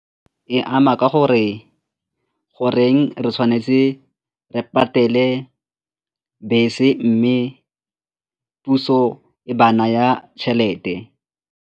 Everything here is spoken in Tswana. E ama ka gore goreng re tshwanetse re patele bese mme puso e ba naya tšhelete.